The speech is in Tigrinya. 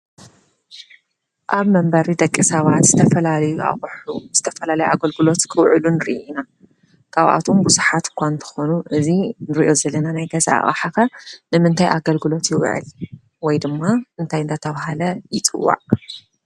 ኣብ መንበሪ ደቂ ሰባት ዝተየፈላለዩ ኣቅሑ ዝተፈላለየ ግልጋሎት ኣገለግሎት ክውዕሉን ንርኢ ኢና ካብኣቶም ብዙሓት እኳ እንተኾኑ እዙይ እንርእዮ ዘለና ናይ ገዛ ኣቕሓ ከ ንምንታይ ኣገልግሎት ይውዕል? ወይ ድማ እንታይ እናተባህለ ይፅዋዕ?